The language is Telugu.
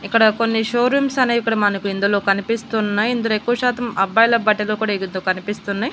ఇక్కడ కొన్ని షోరూమ్స్ అనేవి ఇక్కడ కొన్ని మనకి ఇందులో కనిపిస్తున్నాయి ఇందులో ఎక్కువ శాతం అబ్బాయిల బట్టలు కూడా ఇగతు కనిపిస్తున్నాయి.